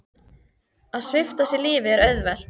Að svipta sig lífi er auðvelt.